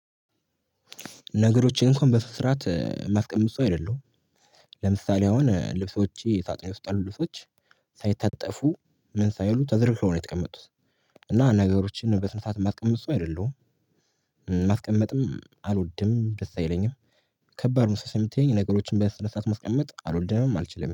ነገሮችን እንኳን በስነስረአት ማስቀመጥ ሰው አይደለሁም። ለምሳሌ አሁን ልብሶቼ ስጥኔ ውስጥ ያሉ ልብሶች ሳይታጠፉ ምን ሳይሉ ተዘርፈው ነው የቀመጡት። እና ነገሮችን በስነ ስርዓት የማስቀምጥ ሰው አይደለሁም። ማስቀመጥም አልወድም ደስ አይለኝም። ከባድ መስሎ ስምትየኝ ነገሮችን በስነስረአት ማስቀመጥ አልወደምም አልችልም